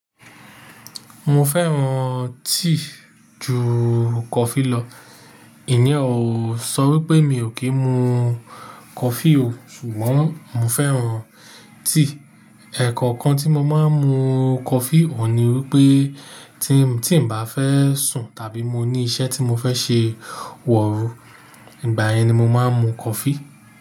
Mo fẹ́ran tea ju coffee lọ. Ìyen o sọ wípé mi ò kí ń mu coffee o, ṣùgbọ́n mo fẹ́ran tea. Ẹ̀ẹ̀kan kan tí mo máa ń mu coffee o ni wípé tí n bá fẹ́ sùn tàbí mo ní iṣẹ́ tí mo fẹ́ ṣe wọ̀ oru, ìgbà yẹn ni mo máa ń mu coffee.